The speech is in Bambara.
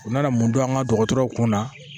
U nana mun dɔn an ka dɔgɔtɔrɔw kunna